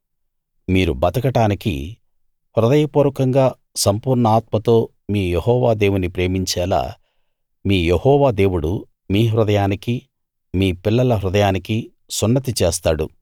మీరు బతకడానికి హృదయపూర్వకంగా సంపూర్ణ ఆత్మతో మీ యెహోవా దేవుని ప్రేమించేలా మీ యెహోవా దేవుడు మీ హృదయానికీ మీ పిల్లల హృదయానికీ సున్నతి చేస్తాడు